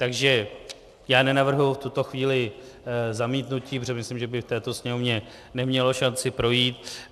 Takže já nenavrhuji v tuto chvíli zamítnutí, protože myslím, že by v této Sněmovně nemělo šanci projít.